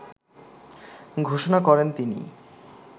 ঘোষণা করেন তিনি।